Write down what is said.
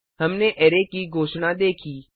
हमने अरै की घोषणा देखी